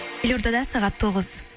елордада сағат тоғыз